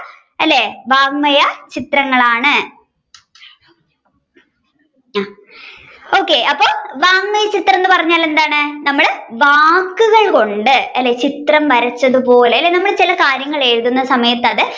അല്ലെ വാങ്മയ ചിത്രങ്ങളാണ് okay അപ്പൊ വാങ്മയചിത്രം എന്ന് പറഞ്ഞാൽ എന്താണ് നമ്മൾ വാക്കുകൾ കൊണ്ട് അല്ലെ അല്ലെ ചിത്രം വരച്ചത് പോലെ അല്ലെ നമ്മൾ ചില കാര്യങ്ങൾ എഴുതുന്ന സമയത്തു